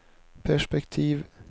perspektiv